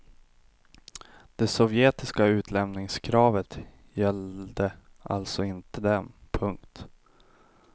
Det sovjetiska utlämningskravet gällde alltså inte dem. punkt